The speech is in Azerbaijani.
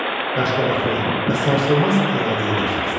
Qaşqabaqlı və sarsılmaz iradəli bir şəxsdir.